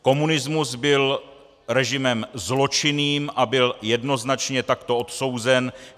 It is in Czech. Komunismus byl režimem zločinným a byl jednoznačně takto odsouzen.